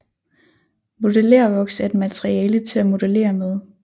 Modellervoks er et materiale til at modellere med